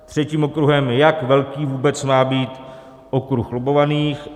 Třetím okruhem je, jak velký vůbec má být okruh lobbovaných.